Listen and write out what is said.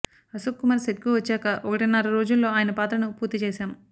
అశోక్కుమార్ సెట్కు వచ్చాక ఒకటిన్నర రోజుల్లో ఆయన పాత్రను పూర్తి చేశాం